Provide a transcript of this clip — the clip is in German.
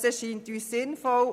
Dies erscheint uns sinnvoll.